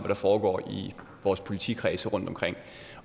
der foregår i vores politikredse rundtomkring